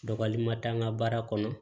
Dɔgɔli ma taa n ka baara kɔnɔ